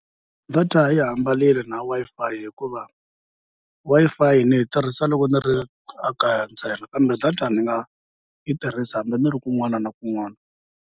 Data yi hambanile na Wi-Fi hikuva Wi-Fi ni yi tirhisa loko ni ri a kaya ntsena, kambe data ndzi nga yi tirhisi hambi ni ri kun'wana na kun'wana.